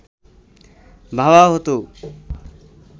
ভাবা হতো